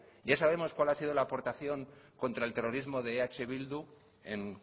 ya sabemos cuál ha sido la aportación contra el terrorismo de eh bildu en